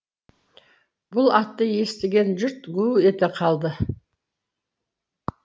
бұл атты естіген жұрт гу ете қалды